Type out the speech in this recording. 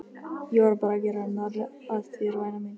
Ég var bara að gera narr að þér væna mín.